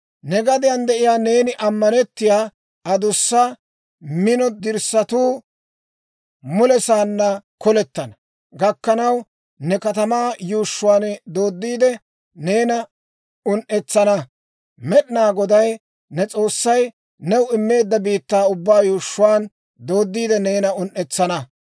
Ne gadiyaan de'iyaa neeni ammanettiyaa, adussa, mino dirssatuu mulesaanna kolettana gakkanaw, ne katamaa yuushshuwaan dooddiide, neena un"etsana. Med'inaa Goday ne S'oossay new immeedda biittaa ubbaa yuushshuwaan dooddiide neena un"etsana.